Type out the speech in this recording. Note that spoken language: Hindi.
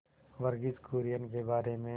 वर्गीज कुरियन के बारे में